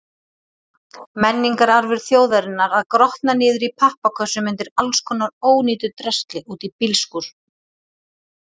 Menningararfur þjóðarinnar að grotna niður í pappakössum undir allskonar ónýtu drasli úti í bílskúr!